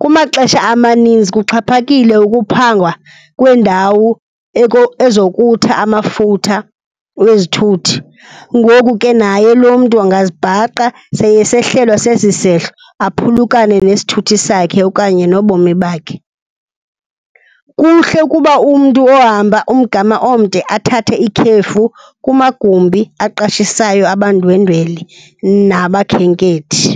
Kumaxesha amaninzi kuxhaphakile ukuphangwa kweendawo ezokutha amafutha wezithuthi. Ngoku ke naye loo mntu angazibhaqa seyesehlelwa sesi sehlo aphulukane nesithuthi sakhe okanye nobomi bakhe. Kuhle ukuba umntu ohamba umgama omde athathe ikhefu kumagumbi aqhashisayo abandwendweli nabakhenkethi.